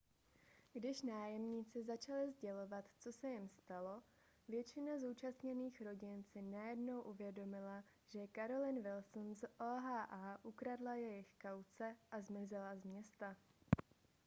když nájemníci začali sdělovat co se jim stalo většina zúčastněných rodin si najednou uvědomila že carolyn wilson z oha ukradla jejich kauce a zmizela z města